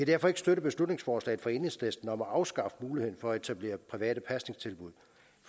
derfor ikke støtte beslutningsforslaget fra enhedslisten om at afskaffe muligheden for at etablere private pasningstilbud